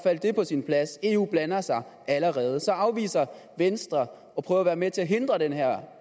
det på plads eu blander sig allerede så afviser venstre at prøve at være med til